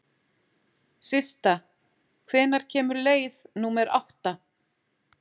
Systa, hvenær kemur leið númer átta?